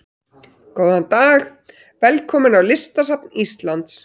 Góðan dag. Velkomin á Listasafn Íslands.